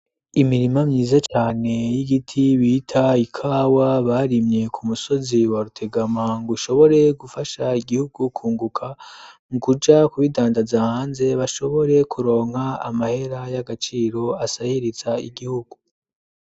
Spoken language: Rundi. Imirima myiza cane y'igiti bita ikawa barimye ku musozi wa rutegama ngushobore gufasha igihugu kunguka, mu kuja kubidandaza hanze bashobore kuronka amahera y'agaciro asahiriza igihugu.